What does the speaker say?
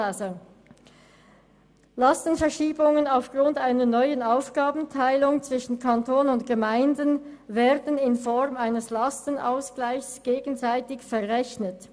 «Lastenverschiebungen aufgrund einer neuen Aufgabenteilung zwischen Kanton und Gemeinden werden in Form eines Lastenausgleichs gegenseitig verrechnet.